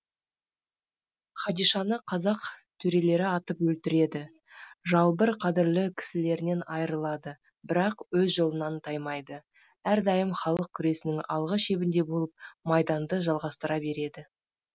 хадишаны қазақ төрелері атып өлтіреді жалбыр қадірлі кісілерінен айырылады бірақ өз жолынан таймайды әрдайым халық күресінің алғы шебінде болып майданды жалғастыра береді